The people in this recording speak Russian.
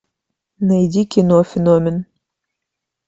найди кино феномен